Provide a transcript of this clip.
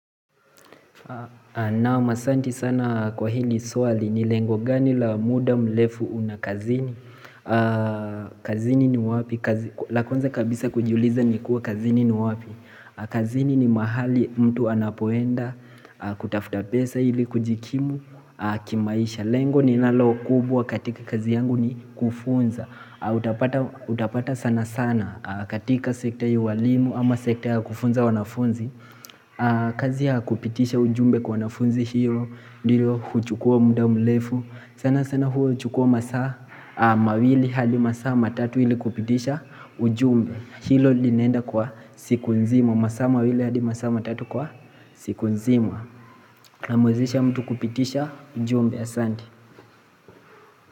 Naam asanti sana kwa hili swali ni lengo gani la muda mrefu una kazini kazini ni wapi, la kwanza kabisa kujuliza ni kuwa kazini ni wapi kazini ni mahali mtu anapoenda, kutafuta pesa ili kujikimu, kimaisha Lengo ninalo kubwa katika kazi yangu ni kufunza Utapata sana sana katika sektea ya ualimu ama sektea kufunza wanafunzi kazi ya kupitisha ujumbe kwa wanafunzi hilo ndilo kuchukua mda mrefu sana sana huo chukua masaa mawili hadi masaa matatu hili kupitisha ujumbe Hilo linenda kwa siku nzima masaa mawili hadi masaa matatu kwa siku nzima Namwezesha mtu kupitisha ujumbe asanti.